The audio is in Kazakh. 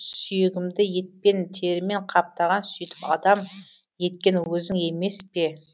сүйегімді етпен терімен қаптаған сөйтіп адам еткен өзің емес пе